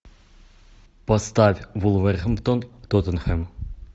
поставь вулверхэмптон тоттенхэм